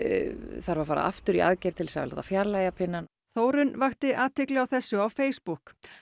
þarf að fara aftur í aðgerð til þess að láta fjarlægja pinnann Þórunn vakti athygli á þessu á Facebook